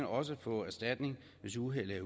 også få erstatning hvis uheldet